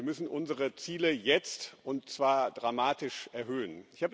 Wir müssen unsere Ziele jetzt und zwar dramatisch erhöhen.